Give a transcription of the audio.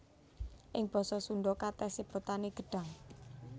Ing basa Sundha katès sebutané gedhang